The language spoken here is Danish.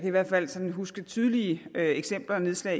i hvert fald sådan huske tydelige eksempler nedslag